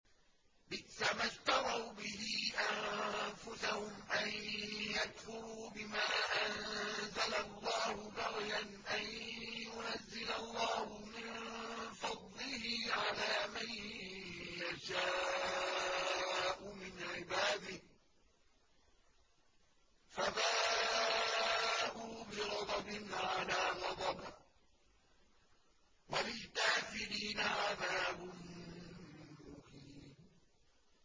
بِئْسَمَا اشْتَرَوْا بِهِ أَنفُسَهُمْ أَن يَكْفُرُوا بِمَا أَنزَلَ اللَّهُ بَغْيًا أَن يُنَزِّلَ اللَّهُ مِن فَضْلِهِ عَلَىٰ مَن يَشَاءُ مِنْ عِبَادِهِ ۖ فَبَاءُوا بِغَضَبٍ عَلَىٰ غَضَبٍ ۚ وَلِلْكَافِرِينَ عَذَابٌ مُّهِينٌ